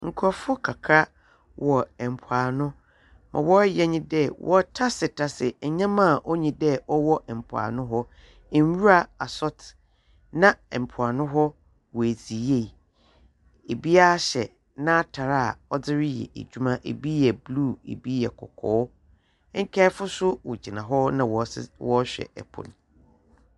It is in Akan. Nkurɔfo kakra wɔ ɛmpoano, Mmrɛ wɔyɛ nye dɛ, wɔtase tase nyɛma a onyi dɛ ɔwɔ mpoano hɔ. Nnwura asɔte, na mpoano hɔ wadzi yie. Ebiaa hyɛ n'atare a ɔdze reyɛ edwuma, ebi yɛ bluu, ebi yɛ kɔkɔɔ. Nkaefo so wogyina hɔ na wɔhwɛ ɛpo no.